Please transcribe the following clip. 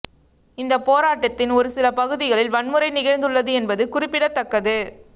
இந்த போராட்டத்தின் ஒரு சில பகுதிகளில் வன்முறை நிகழ்ந்து உள்ளது என்பது குறிப்பிடத்தக்கது